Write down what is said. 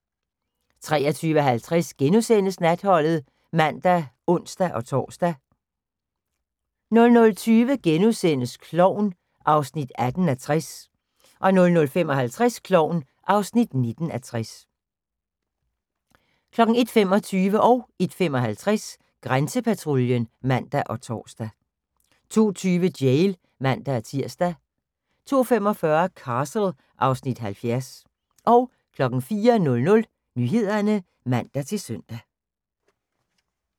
23:50: Natholdet *(man og ons-tor) 00:20: Klovn (18:60)* 00:55: Klovn (19:60) 01:25: Grænsepatruljen (man og tor) 01:55: Grænsepatruljen (man og tor) 02:20: Jail (man-tir) 02:45: Castle (Afs. 70) 04:00: Nyhederne (man-søn)